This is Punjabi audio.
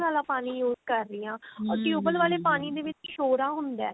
ਵਾਲਾ ਪਾਣੀ use ਕਰ ਰਹੀ ਹਾਂ or ਟਿਉਬਲ ਵਾਲੇ ਪਾਣੀ ਦੇ ਵਿੱਚ ਸ਼ੋਰਾ ਹੁੰਦਾ